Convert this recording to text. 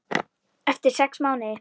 Eftir sex mánuði.